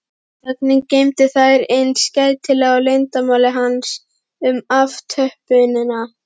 Þögnin geymir þær eins gætilega og leyndarmál hans um aftöppunina.